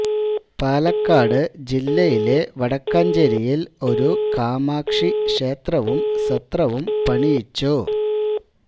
പാലക്കാട് ജില്ലയിലെ വടക്കഞ്ചേരിയിൽ ഒരു കാമാക്ഷി ക്ഷേത്രവും സത്രവും പണിയിച്ചു